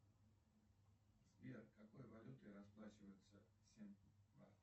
сбер какой валютой расплачиваются